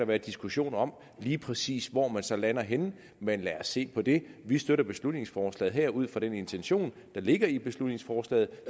være diskussion om lige præcis hvor man så lander henne men lad os se på det vi støtter beslutningsforslaget her ud fra den intention der ligger i beslutningsforslaget